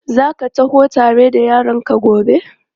Za ka taho tare da yaranka gobe?